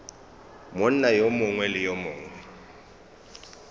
monna yo mongwe le yo